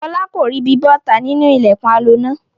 Fọlá kò ríbi bọ́ta nínú ilẹ̀kùn aloná.